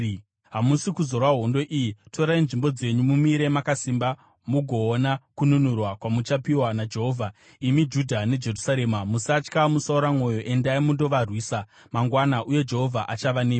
Hamusi kuzorwa hondo iyi. Torai nzvimbo dzenyu; mumire makasimba mugoona kununurwa kwamuchapiwa naJehovha, imi Judha neJerusarema. Musatya; musaora mwoyo, endai mundovarwisa mangwana, uye Jehovha achava nemi.’ ”